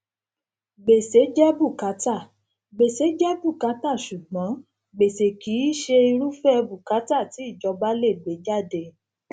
gbèsè jẹ bùkátà gbèsè jẹ bùkátà ṣùgbón gbèsè kì í ṣe irúfẹ bùkátà ti ìjọba lè gbé jáde